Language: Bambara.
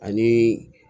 Ani